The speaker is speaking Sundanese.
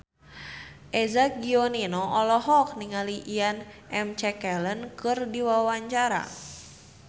Eza Gionino olohok ningali Ian McKellen keur diwawancara